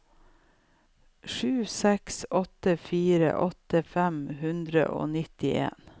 sju seks åtte fire åtti fem hundre og nittien